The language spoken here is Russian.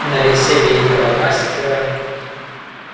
на лице великого мастера